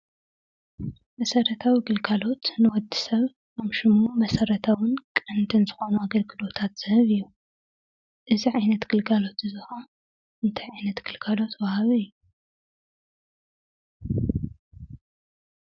መሰረታዊ ግልጋሎት ንወዲ ሰብ ከም ሽሙ መሰረታውን ቀንድን ዝኾነ ኣገልግሎታት ዝህብ እዩ። እዚ ዓይነት ግልጋሎት እዚ ኻዓ እንታይ ዓይነት ግልጋሎት ወሃቢ እዩ?